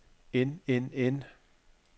end end end